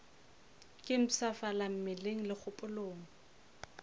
ke mpshafala mmeleng le kgopolong